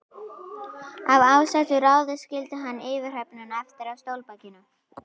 Af ásettu ráði skildi hann yfirhöfnina eftir á stólbakinu.